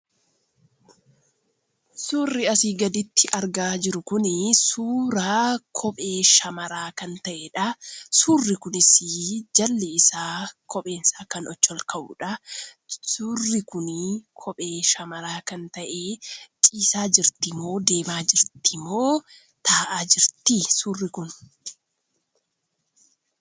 Suurri asii gaditti argaa jiru kun suuraa kophee shamaraa kan ta'eedha. suurri kunis jalli isaa koomeen isaa achii ol kan ka'udha. Suurri kun kophee shamaraa kan ta'ee ciisaa jirti moo deemaa jirti moo taa'aa jirtii suurri kun?